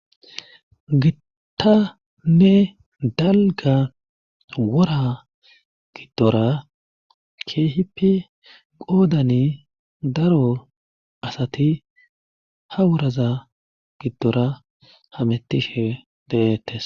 Gittane dalga wora giddora keehipi qoodani daro asati ha wuraza giddora hamettishe deettes